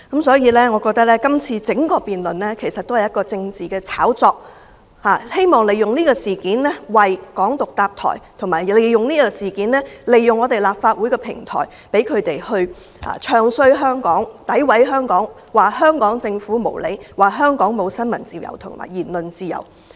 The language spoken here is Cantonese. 所以，我覺得整個辯論只是一場政治炒作，藉以為"港獨"建立平台，反對派議員並藉此事利用立法會的平台"唱衰"香港、詆毀香港、說香港政府無理、說香港沒有新聞自由和言論自由。